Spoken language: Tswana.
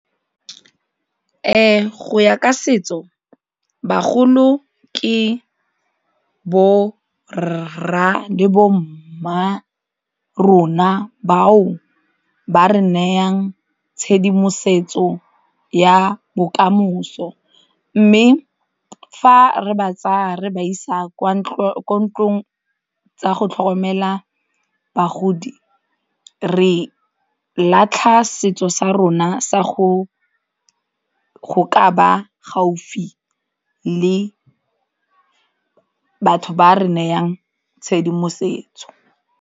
Go ya ka setso bagolo ke borra le bommarona bao ba re nayang tshedimosetso ya bokamoso mme fa re ba tsaya re ba isa kwa ko ntlong tsa go tlhokomela bagodi re latlha setso sa rona sa go ka ba gaufi le batho ba re nayang tshedimosetso.